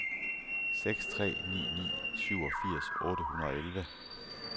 seks tre ni ni syvogfirs otte hundrede og elleve